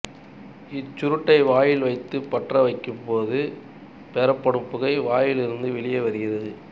இச்சுருட்டை வாயில் வைத்துப் பற்ற வைக்கும் போது பெறப்படும் புகை வாயில் இருந்து வெளிவருகிறது